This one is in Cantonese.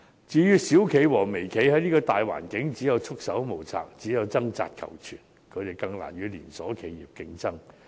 至於小企和微企，在這個大環境下只有束手無策，掙扎求存，他們更難與連鎖企業競爭。